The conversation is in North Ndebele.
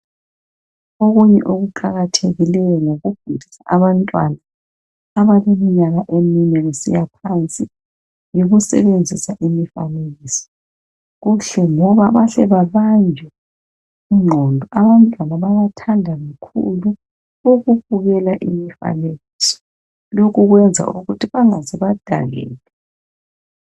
Okunye kuqakathekileyo ngokufundisa abantwana abaleminyaka emine kusiyaphansi yikusebenzisa imifanekiso kuhle ngoba bahle babanjwe ingqondo abantwana bayathanda kakhulu ukubukela imifanekiso lokhu kuyenza lokuthi bangaze badakeka